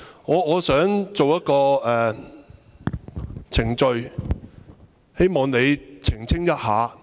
我想提出一個程序問題，希望你澄清一下。